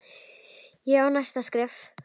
Ég á næsta skref.